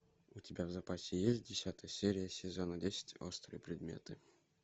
у тебя в запасе есть десятая серия сезона десять острые предметы